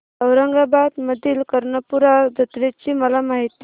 औरंगाबाद मधील कर्णपूरा जत्रेची मला माहिती दे